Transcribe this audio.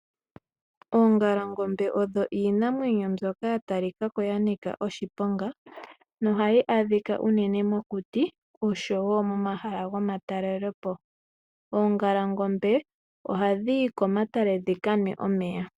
Oongalangombe odho iinamwenyo mbyoka yatalikako yanika oshiponga na ohayi adhika uunene mokuti oshowo momahala gomatalele po. Oongalangombe ohadhi yi komatale dhika nwe omeya.